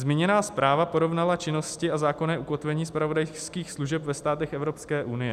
Zmíněná zpráva porovnala činnosti a zákonné ukotvení zpravodajských služeb ve státech Evropské unie.